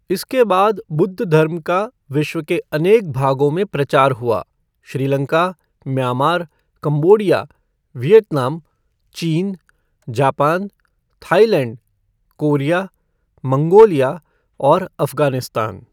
इसके बाद बुद्धधर्म का विश्व के अनेक भागों में प्रचार हुआ श्रीलंका, म्यांमार, कम्बोडिया, वियतनाम, चीन, जापान, थाइलैण्ड, कोरिया, मंगोलिया और अफ़गानिस्तान।